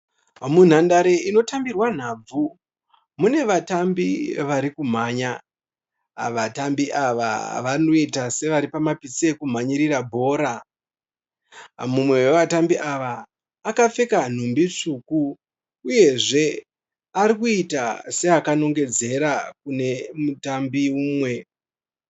Munhandare inotambirwa nhabvu, mune vatambi vari kumhanya. Vatambi ava vanoita sevari pamapitse okumhanyirira bhora. Mumwe wavatambi ava akapfeka nhumbi tsvuku uyezve ari kuita seakanongedzera kune mutambi mumwe.